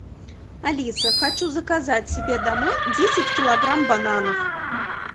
алиса хочу заказать себе домой десять килограмм бананов